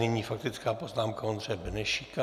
Nyní faktická poznámka Ondřeje Benešíka.